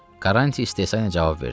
Karranti istehsanla cavab verdi.